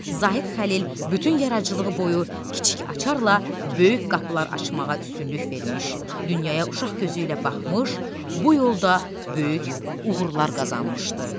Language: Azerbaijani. Zahid Xəlil bütün yaradıcılığı boyu kiçik açarla böyük qapılar açmağa üstünlük vermiş, dünyaya uşaq gözü ilə baxmış, bu yolda böyük uğurlar qazanmışdı.